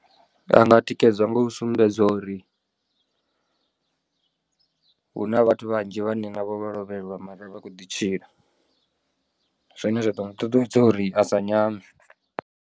A nga tikedzwa nga u sumbedzwa uri hu na vhathu vhanzhi vhane na vho vho lovheliwa mara vha khou ḓi tshila zwine zwa ḓo muṱuṱuwedza uri a sa nyame.